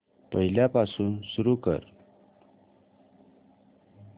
पहिल्यापासून सुरू कर